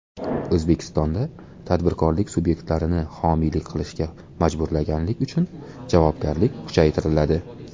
O‘zbekistonda tadbirkorlik subyektlarini homiylik qilishga majburlaganlik uchun javobgarlik kuchaytiriladi.